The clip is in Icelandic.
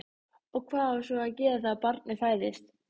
Og hvað á svo að gera þegar barnið fæðist?